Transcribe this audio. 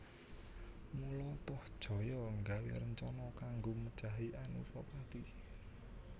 Mula Tohjaya nggawé rencana kanggo mejahi Anusapati